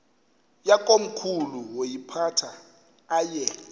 yakomkhulu woyiphatha aye